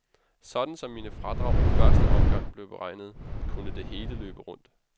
Sådan som mine fradrag i første omgang blev beregnet, kunne det hele løbe rundt.